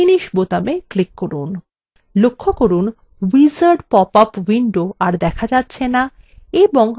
লক্ষ্য করুন wizard popup window are দেখা যাচ্ছে না এবং আমরা form ডিজাইন window দেখতে পাচ্ছি